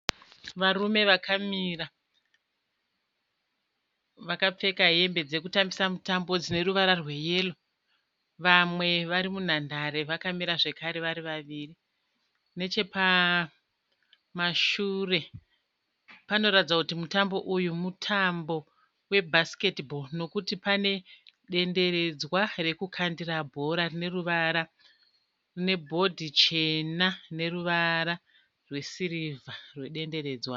Varume vakamira vakapfeka hembe dzekutambisa mutambo dzine ruva rweyero. Vamwe vari munhandare vakamira zvekare vari vaviri. Nechepamashure panoratidza kuti mutambo uyu mutambo webhasiketibhoro nekuti pane denderedzwa rekukandira bhora rine ruvara nebhodhi chena rine ruvara rwesirivha rwedenderedzwa.